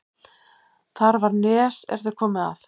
Þar var nes er þeir komu að.